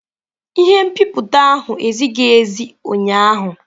Ihe nbipute ahụ ezighi ezi ụnyaahụ.